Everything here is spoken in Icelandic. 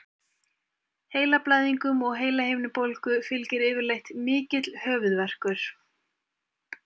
Heilablæðingum og heilahimnubólgu fylgir yfirleitt mikill höfuðverkur.